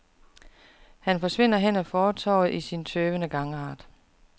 Han forsvinder hen ad fortovet i sin tøvende gangart.